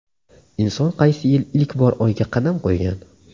Inson qaysi yili ilk bor Oyga qadam qo‘ygan?